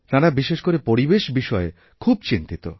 তাঁরা বিশেষ করে পরিবেশ বিষয়েখুব চিন্তিত